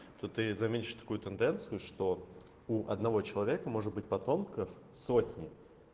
то ты заметишь такую тенденцию что у одного человека может быть потомков сотни